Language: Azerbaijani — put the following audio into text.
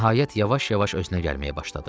Nəhayət yavaş-yavaş özünə gəlməyə başladı.